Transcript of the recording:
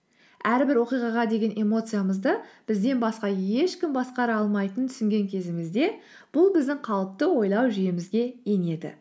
әрбір оқиғаға деген эмоциямызды бізден басқа ешкім басқара алмайтынын түсінген кезімізде бұл біздің қалыпты ойлау жүйемізге енеді